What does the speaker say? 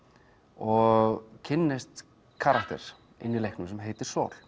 og kynnist karakter inn í leiknum sem heitir